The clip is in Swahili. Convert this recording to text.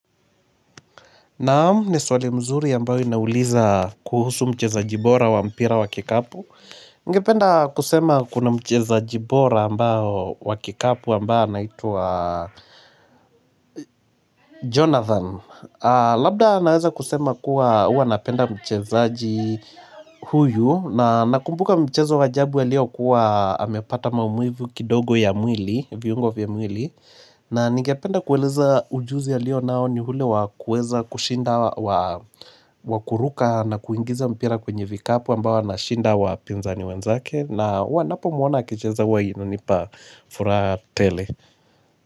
Naamu ni swali mzuri ambayo inauliza kuhusu mcheza jibora wa mpira wa kikapu Ningependa kusema kuna mcheza jibora ambayo wa kikapu ambayo anaitwa Jonathan Labda naweza kusema kuwa huwa napenda mchezaaji huyu na nakumbuka mchezo waajabu aliokuwa amepata maumivu kidogo ya mwili na ningependa kueleza ujuzi alio nao ni ule wakueza kushinda wakuruka na kuingiza mpira kwenye vikapu ambao ana shinda wapinza ni wenzake na wanapo mwona akicheza waino nipa furaha tele.